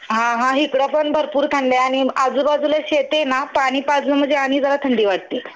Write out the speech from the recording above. हां हां हिकडं पण भरपूर थंडी आहे आणि आजूबाजूला शेती आहे ना पाणी पाझरून म्हणजे आणि जरा थंडी वाटते.